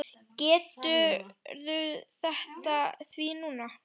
Gerðu þetta því núna!